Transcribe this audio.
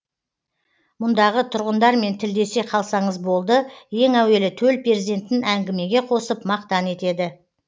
мұндағы тұрғындармен тілдесе қалсаңыз болды ең әуелі төл перзентін әңгімеге қосып мақтан етеді